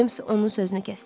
Ceyms onun sözünü kəsdi.